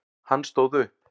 Hann stóð upp.